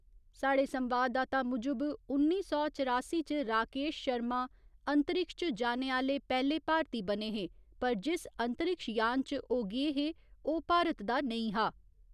स्हाड़े संवाददाता मुजब, उन्नी सौ चरासी च राकेश शर्मा, अंतरिक्ष च जाने आह्‌ले पैह्‌ले भारती बने हे पर जिस अंतरिक्ष यान च ओह् गे हे, ओह् भारत दा नेईं हा।